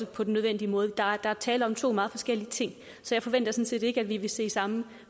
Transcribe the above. på den nødvendige måde der er tale om to meget forskellige ting så jeg forventer sådan set ikke at vi vil se samme